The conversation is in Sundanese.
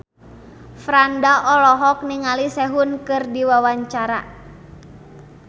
Franda olohok ningali Sehun keur diwawancara